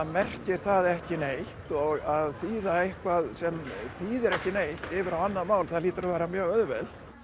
merkir það ekki neitt og að þýða eitthvað sem þýðir ekki neitt yfir á annað mál það hlýtur að vera mjög auðvelt